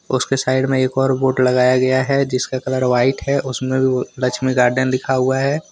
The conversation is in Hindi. उसके साइड में एक और बोर्ड लगाया गया है जिसका कलर व्हाइट हैउसमें भी लक्ष्मी गार्डन लिखा हुआ है।